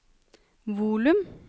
volum